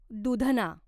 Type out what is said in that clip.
दूधना